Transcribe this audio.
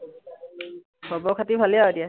খবৰ-খাতি ভালেই নআৰু এতিয়া?